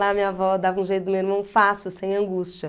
Lá minha avó dava um jeito do meu irmão fácil, sem angústia.